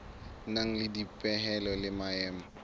nang le dipehelo le maemo